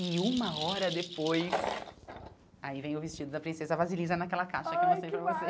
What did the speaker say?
E uma hora depois... Aí vem o vestido da princesa Vasilisa naquela caixa que eu mostrei para vocês ai que